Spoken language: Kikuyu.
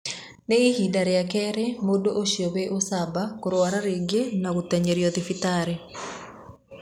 Nĩ ihinda rĩa kerĩ mũndũũcio wĩ ũcamba kũrwara rĩngĩ na gũteng'erio thibitarĩ.